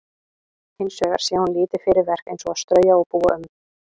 Hins vegar sé hún lítið fyrir verk eins og að strauja og búa um.